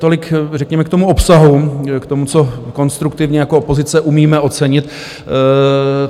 Tolik řekněme k tomu obsahu, k tomu, co konstruktivně jako opozice umíme ocenit.